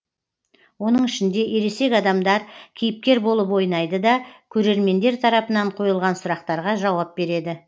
оның ішінде ересек адамдар кейіпкер болып ойнайды да көрермендер тарапынан қойылған сұрақтарға жауап береді